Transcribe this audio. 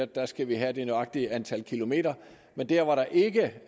der skal vi have det nøjagtige antal kilometer der